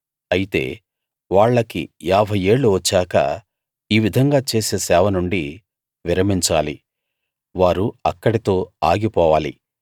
అయితే వాళ్లకి యాభై ఏళ్ళు వచ్చాక ఈ విధంగా చేసే సేవ నుండి విరమించాలి వారు అక్కడితో ఆగిపోవాలి